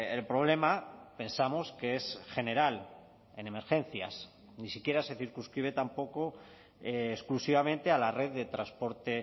el problema pensamos que es general en emergencias ni siquiera se circunscribe tampoco exclusivamente a la red de transporte